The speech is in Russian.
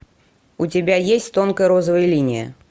у тебя есть тонкая розовая линия